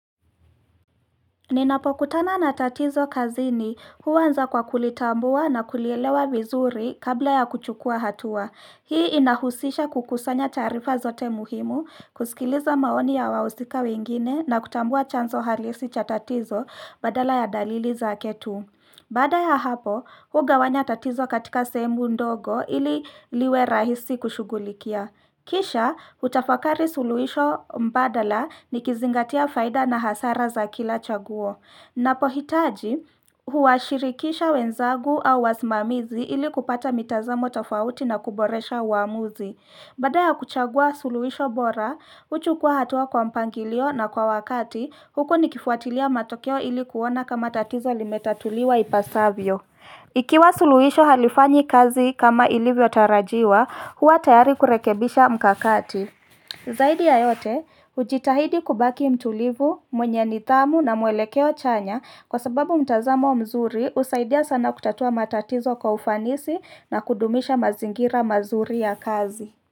Ninapokutana na tatizo kazini huanza kwa kulitambua na kulielewa vizuri kabla ya kuchukua hatua. Hii inahusisha kukusanya tarifa zote muhimu, kusikiliza maoni ya wahusika wengine na kutambua chanzo halisi cha tatizo badala ya dalili zake tu. Baada ya hapo, hugawanya tatizo katika sehemu ndogo ili liwe rahisi kushughulikia. Kisha, utafakari suluhisho mbadala nikizingatia faida na hasara za kila chaguo. Napohitaji, huwashirikisha wenzangu au wasimamizi ili kupata mitazamo tofauti na kuboresha uamuzi. Baada ya kuchagua suluisho bora, huchukua hatua kwa mpangilio na kwa wakati, huku nikifuatilia matokeo ili kuona kama tatizo limetatuliwa ipasavyo. Ikiwa suluisho halifanyi kazi kama ilivyo tarajiwa, huwa tayari kurekebisha mkakati. Zaidi ya yote, hujitahidi kubaki mtulivu, mwenye nidhamu na muelekeo chanya kwa sababu mtazamo mzuri husaidia sana kutatua matatizo kwa ufanisi na kudumisha mazingira mazuri ya kazi.